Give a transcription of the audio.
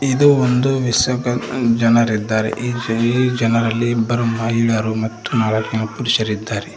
ಇದು ಒಂದು ವಿಸಕ ಜನರಿದ್ದಾರೆ ಈ ಜನ ಜನರಲ್ಲಿ ಇಬ್ಬರು ಮಹಿಳೆಯರು ಮತ್ತು ನಾಲಕ್ ಜನ ಪುರುರಿದ್ದಾರೆ.